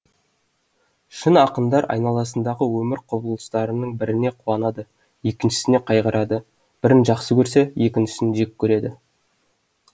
шын ақындар айналасындағы өмір құбылыстарының біріне қуанады екіншісіне қайғырады бірін жақсы көрсе екіншісін жек көреді